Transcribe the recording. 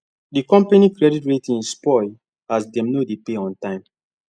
the company credit rating spoil as dem no dey pay on time